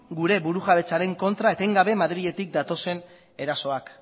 gure burujabetzaren kontra etengabe madriletik datozen erasoak